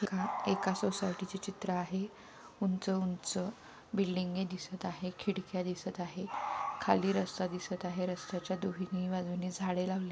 एका सोसायटिच चित्र आहे उंच-उंच बिल्डिंगे दिसत आहे खिडक्या दिसत आहे खाली रस्ता दिसत आहे रस्त्याच्या दोन्ही बाजूनी झाडे लावलेली--